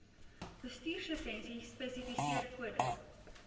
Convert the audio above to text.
bestuurslisensie spesifiseer kode